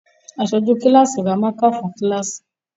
Aṣojú kíláàsì ra mákà fún kíláàsì